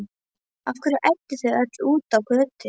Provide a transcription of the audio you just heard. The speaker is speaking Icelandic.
Af hverju ædduð þið öll út á götu?